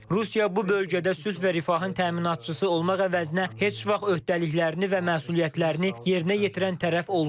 Rusiya bu bölgədə sülh və rifahın təminatçısı olmaq əvəzinə heç vaxt öhdəliklərini və məsuliyyətlərini yerinə yetirən tərəf olmayıb.